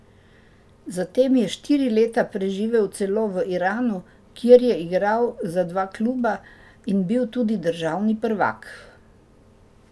Zatem je štiri leta preživel celo v Iranu, kjer je igral za dva kluba in bil tudi državni prvak.